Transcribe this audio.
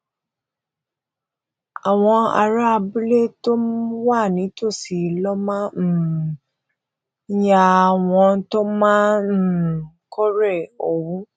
àwọn ará abúlé tó wà nítòsí ló máa um ń háyà àwọn tó máa ń um kórè òwú